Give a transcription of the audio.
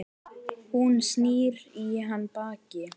Hún snýr í hann baki.